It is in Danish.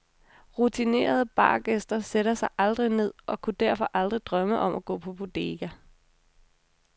Rutinerede bargæster sætter sig aldrig ned og kunne derfor aldrig drømme om at gå på bodega.